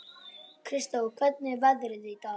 Kristó, hvernig er veðrið í dag?